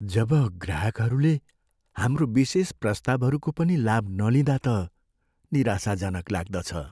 जब ग्राहकहरूले हाम्रो विशेष प्रस्तावहरूको पनि लाभ नलिँदा त निराशाजनक लाग्दछ।